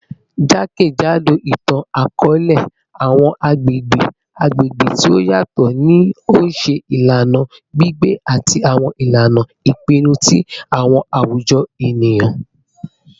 Jakejado itan-akọọlẹ, awọn agbegbe agbegbe ti o yatọ ni o ṣe ilana gbigbe ati awọn ilana ipinnu ti awọn awujọ eniyan.